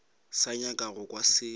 sa nyaka go kwa selo